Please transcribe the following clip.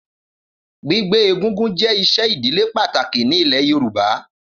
Gbígbé egúngún jé isé ìdílé pàtàkì ní ilé Yorùbá